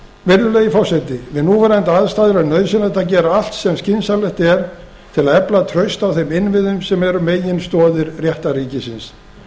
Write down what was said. virðulegi forseti við núverandi aðstæður er nauðsynlegt að gera allt sem skynsamlegt er til að efla traust á þeim innviðum sem eru meginstoðir réttarríkisins